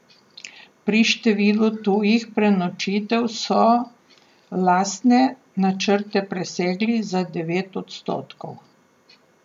Pri številu tujih prenočitev so lastne načrte presegli za devet odstotkov.